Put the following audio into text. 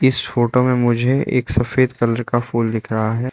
इस फोटो में मुझे एक सफेद कलर का फूल दिख रहा है।